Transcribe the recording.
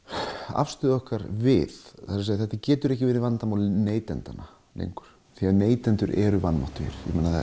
afstöðu okkar við þetta getur ekki verið vandamál neytenda lengur því neytendur eru vanmáttugir